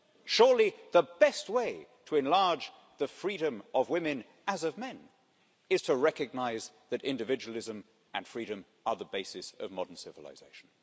Surely the best way to enlarge the freedom of women, as of men, is to recognise is that individualism and freedom are the basis of modern civilization.